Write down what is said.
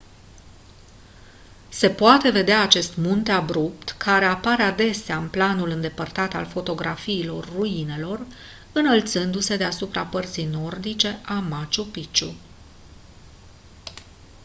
se poate vedea acest munte abrupt care apare adesea în planul îndepărtat al fotografiilor ruinelor înălțându-se deasupra părții nordice a machu picchu